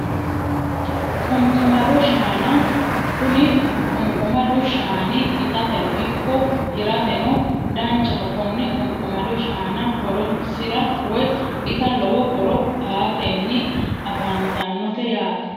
Qunqumado shaana kuni qunqumadu shaani itateno ikko hirateno danchaho konne qunqumado shaana horonsira woyi ita lowo horo aatenni afantinote yaate